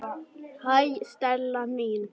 Hæ, Stella mín.